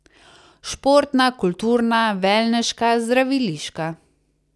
Športna, kulturna, velneška, zdraviliška.